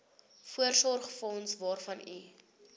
voorsorgsfonds waarvan u